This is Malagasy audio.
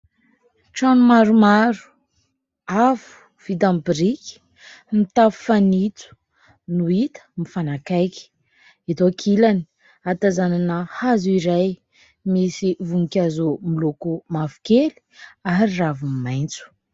Trano maromaro avo vita aminy biriky mitafo fanitso no hita mifanakaiky, eto ankilany ahatazanana hazo iray misy voninkazo miloko mavokely ary raviny maitso.